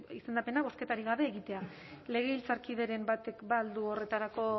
izendapena bozketarik gabe egitea legebiltzarkideren batek ba al du horretarako